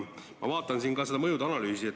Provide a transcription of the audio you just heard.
Ma vaatan ka seda mõjude analüüsi.